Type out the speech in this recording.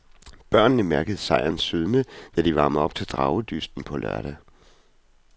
Børnene mærkede sejrens sødme, da de varmede op til dragedysten på lørdag.